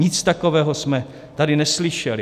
Nic takového jsme tady neslyšeli.